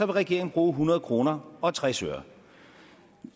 regeringen bruger hundrede kroner og tres øre